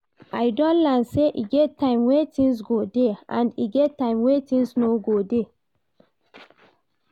I don learn sey e get time wey things go dey and e get time wey things no go dey